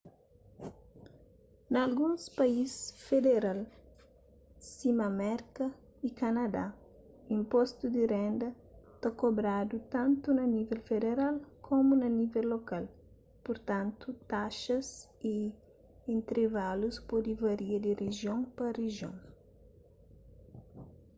na alguns país federal sima merka y kanadá inpostu di renda ta kobradu tantu na nível federal komu na nível lokal purtantu taxas y intrivalus pode varia di rijion pa rijion